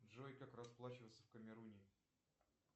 джой как расплачиваться в камеруне